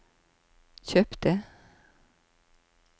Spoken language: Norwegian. kjøpte